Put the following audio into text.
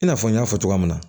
I n'a fɔ n y'a fɔ cogoya min na